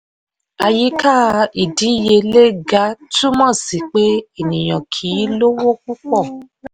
àyíká ìdíyelé ga túmọ̀ sí pé ènìyàn kì í lówó púpọ̀.